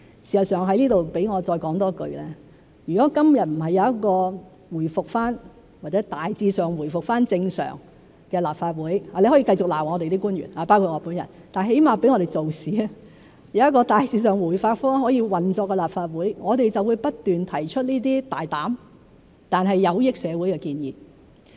事實上，容我在此再多說一句，如果今日不是有一個回復或大致上回復正常的立法會——你可以繼續罵我們的官員，包括我本人，但至少讓我們做事，有一個大致上可以回復運作的立法會，我們就會不斷提出這些大膽但有益社會的建議。